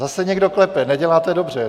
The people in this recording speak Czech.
Zase někdo klepe, neděláte dobře.